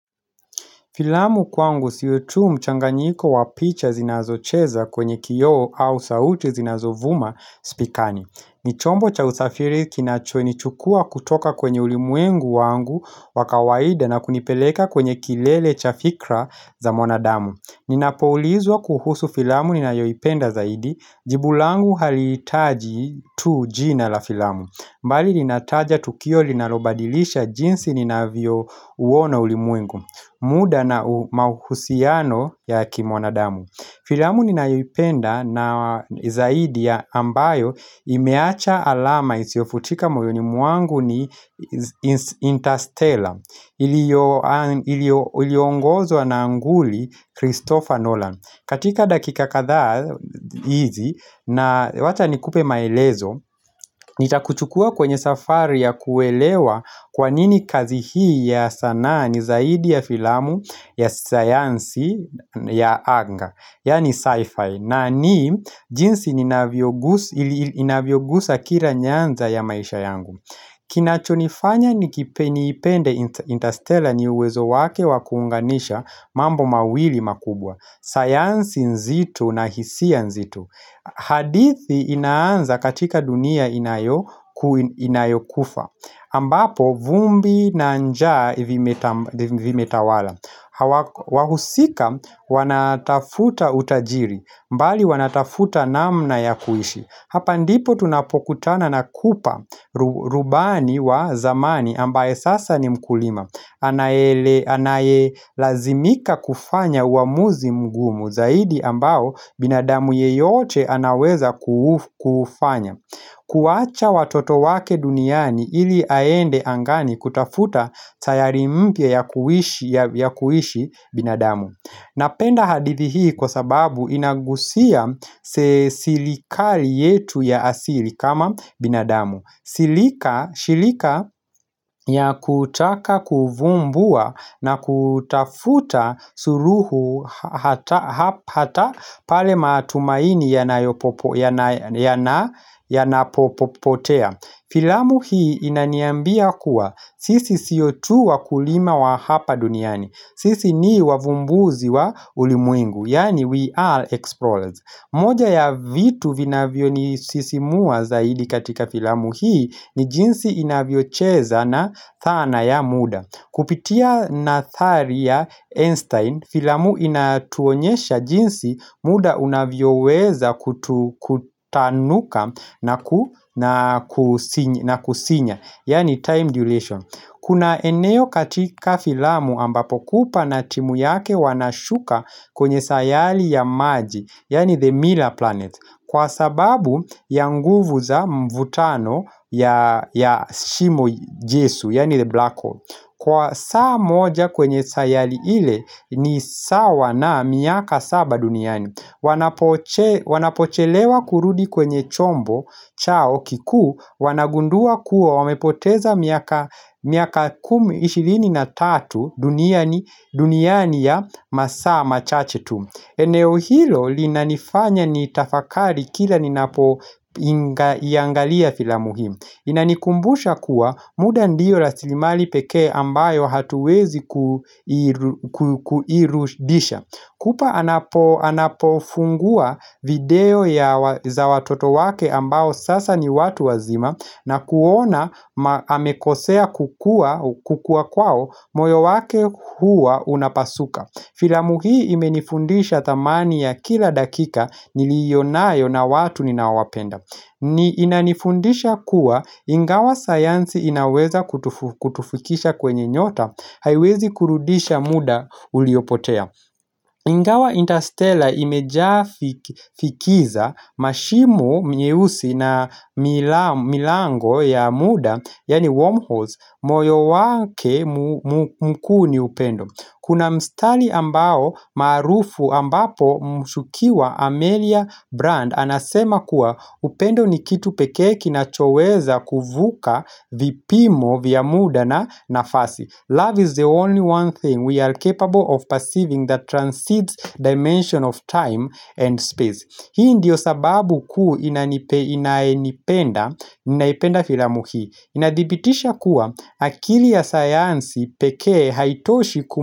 Filamu kwangu siyo tu mchanganyiko wapicha zinazocheza kwenye kioo au sauti zinazovuma spikani. Nichombo cha usafiri kinachoni chukua kutoka kwenye ulimwengu wangu wakawaida na kunipeleka kwenye kilele cha fikra za mwanadamu. Ninapoulizwa kuhusu filamu ninayoipenda zaidi, jibu langu halitaji tu jina la filamu. Mbali ninataja tukio linalobadilisha jinsi ninavyo uona ulimuengu. Muda na mauhusiano ya kimwanadamu Filamu ninaipenda na zaidi ya ambayo imeacha alama isio futika moyo ni mwangu ni Interstellar Iliongozo na anguli Christopher Nolan katika dakika kadha hizi na wacha nikupe maelezo Nitakuchukua kwenye safari ya kuelewa kwa nini kazi hii ya sanaa ni zaidi ya filamu ya sayansi ya anga Yani sci-fi na ni jinsi inavyogusa kila nyanza ya maisha yangu Kinachonifanya ni kipeniipende interstellar ni uwezo wake wakuunganisha mambo mawili makubwa sayansi nzitu na hisia nzito hadithi inaanza katika dunia inayokufa ambapo vumbi na njaa ivimetawala wahusika wanatafuta utajiri mbali wanatafuta namna ya kuishi hapa ndipo tunapokutana na kupa rubani wa zamani ambaye sasa ni mkulima Anaelazimika kufanya uamuzi mgumu zaidi ambao binadamu yeyote anaweza kufanya kuwacha watoto wake duniani ili aende angani kutafuta sayari mpya ya kuishi binadamu Napenda hadithi hii kwa sababu inagusia sirikari yetu ya asili kama binadamu Silika ya kutaka kuvumbua na kutafuta suruhu hata pale matumaini yanapopotea Filamu hii inaniambia kuwa sisi siotu wa kulima wa hapa duniani Sisi ni wavumbuzi wa ulimuingu Yani we are explorers moja ya vitu vinavyo ni sisimua zaidi katika filamu hii ni jinsi inavyocheza na thana ya muda Kupitia nathari ya Einstein Filamu inatuonyesha jinsi muda unavyo weza kutanuka na kusinya Yani time duration Kuna eneo katika filamu ambapo kupana timu yake wanashuka kwenye sayali ya maji Yani the mirror planet Kwa sababu ya nguvu za mvutano ya shimo jesu, yani the black hole Kwa saa moja kwenye sayali ile ni sawa na miaka saba duniani Wanapochelewa kurudi kwenye chombo chao kiku Wanagundua kuwa wamepoteza miaka 23 duniani ya masaa machache tu eneo hilo linanifanya ni tafakari kila ninapo iangalia fila muhimu Inanikumbusha kuwa muda ndiyo rasilimali peke ambayo hatuwezi kuirudisha kupa anapofungua video ya za watoto wake ambayo sasa ni watu wazima na kuona amekosea kukua kwao moyo wake huwa unapasuka Filamu hii imenifundisha thamani ya kila dakika nilionayo na watu ninawapenda ni inanifundisha kuwa ingawa sayansi inaweza kutufikisha kwenye nyota haiwezi kurudisha muda uliopotea Ingawa Interstellar imejaa fikiza mashimu myeusi na milango ya muda Yani wormholes moyo wake mkuni upendo Kuna mstali ambao maarufu ambapo mshukiwa Amelia Brand anasema kuwa upendo ni kitu peke kina choweza kuvuka vipimo vya muda na nafasi. Love is the only one thing we are capable of perceiving that transcends dimension of time and space. Hii ndiyo sababu ku inaenipenda, inaipenda filamuhi Inadipitisha kuwa akili ya sayansi pekee haitoshi kuma.